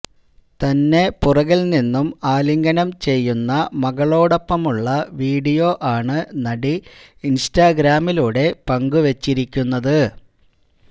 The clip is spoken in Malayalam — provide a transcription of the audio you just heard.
തന്നെ പുറകില് നിന്നും ആലിംഗനം ചെയ്യുന്ന മകളോടൊപ്പമുള്ള വീഡിയോ ആണ് നടി ഇന്സ്റ്റാഗ്രാമിലൂടെ പങ്കുവച്ചിരിക്കുന്നത്